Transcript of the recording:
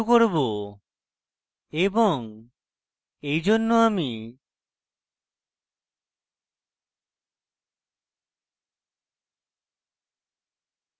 এবং এই জন্য